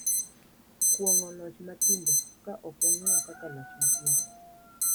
Kuong’o loch matindo, ka ok wang’iyo kaka loch matindo,